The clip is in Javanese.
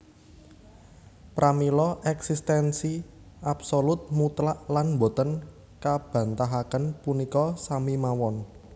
Pramila éksistensi absolut mutlak lan boten kabantahaken punika sami mawon